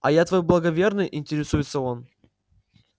а я твой благоверный интересуется он